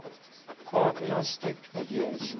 core gnostic ideas